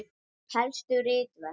Helstu ritverk